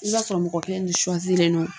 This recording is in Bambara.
I b'a sɔrɔ mɔgɔ kelen de don